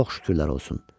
Çox şükürlər olsun.